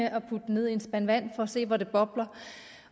at putte den ned i en spand vand for at se hvor det bobler